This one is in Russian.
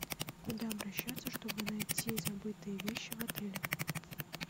куда обращаться чтобы найти забытые вещи в отеле